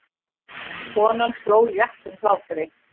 Konan hló léttum hlátri.